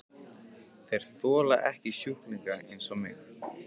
Þeir þola ekki sjúklinga eins og mig.